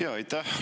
Jaa, aitäh!